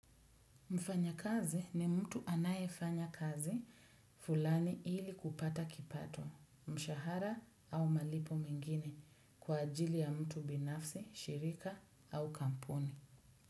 Mfanya kazi ni mtu anayefanya kazi fulani ili kupata kipato, mshahara au malipo mengine kwa ajili ya mtu binafsi, shirika au kampuni.